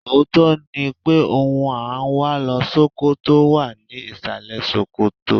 Òótọ́ ni pé ohun à ń wá lọ Ṣókótó wà ní ìsàlẹ̀ ṣòkòtò.